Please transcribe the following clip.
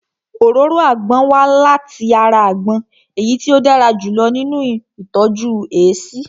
Òróró àgbon wá láti ara àgbon èyí tí ó dára jù lọ nínu ìtọ́jú èéṣí